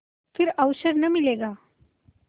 फिर अवसर न मिलेगा